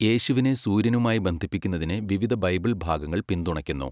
യേശുവിനെ സൂര്യനുമായി ബന്ധിപ്പിക്കുന്നതിനെ വിവിധ ബൈബിൾ ഭാഗങ്ങൾ പിന്തുണയ്ക്കുന്നു.